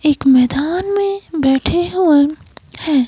एक मैदान में बैठे हुए हैं।